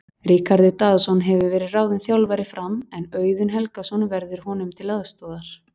Ríkharður Daðason hefur verið ráðinn þjálfari Fram en Auðun Helgason verður honum til aðstoðar.